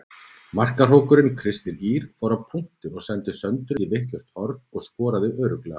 Markahrókurinn Kristín Ýr fór á punktinn og sendi Söndru í vitlaust horn og skoraði örugglega.